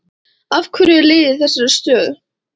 Af hverju er liðið í þessari stöðu?